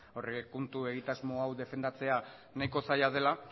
aurrekontu egitasmo hau defendatzea nahiko zaila dela